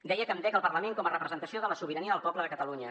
deia que em dec al parlament com a representació de la sobirania del poble de catalunya